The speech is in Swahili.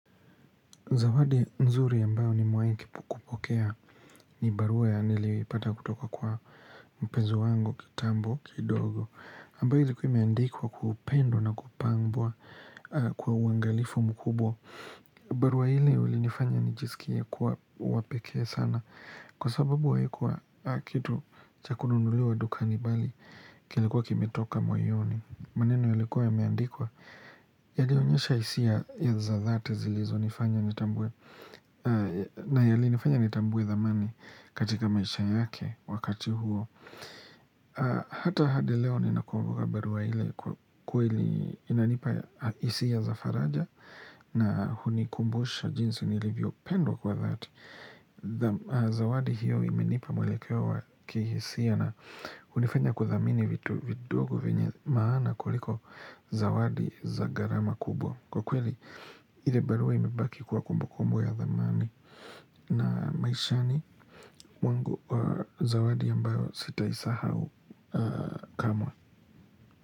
Zawadi nzuri ambayo ni mewai kupokea ni barua ya nili ipata kutoka kwa mpenzi wango kitambo kidogo. Ambayo ili kuwa imeandikwa kwa upendo na kupambwa kwa uangalifu mkubwa. Barua hili ulinifanya nijisikia kuwa wapekee sana. Kwa sababu haikuwa kitu cha kununuliwa dukani bali kilikuwa kime toka moyoni. Maneno yalikuwa ya meandikwa? Yalionyesha hisia ya za thate zilizo nifanya nitambue. Na yali nifanya nitambue dhamani katika maisha yake wakati huo Hata hadi leo nina kumbuka barua ile kwenye inanipa hisia za faraja na hunikumbusha jinsi nilivyo pendwa kwa thati Zawadi hiyo imenipa mwelekeo wa kihisia na unifanya kuthamini vitu vidogo venye maana kuliko zawadi za gharama kubwa Kwa kweli, ile barua imebaki kuwa kumbu kumbu ya dhamani na maishani mwangu za wadi ambayo sita isahau kamwe.